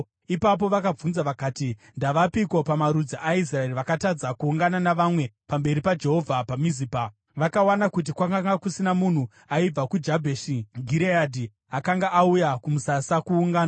Ipapo vakabvunza vakati, “Ndavapiko pamarudzi aIsraeri vakatadza kuungana navamwe pamberi paJehovha paMizipa?” Vakawana kuti kwakanga kusina munhu aibva kuJabheshi Gireadhi akanga auya kumusasa kuungano.